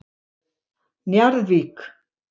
Njarðvík